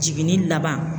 Jiginni laban